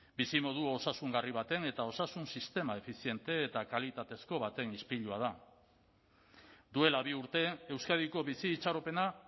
bizimodu osasungarri baten eta osasun sistema efiziente eta kalitatezko baten ispilua da duela bi urte euskadiko bizi itxaropena